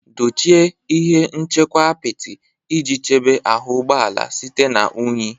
Dochie ihe nchekwa apịtị iji chebe ahụ ụgbọ ala site na unyi.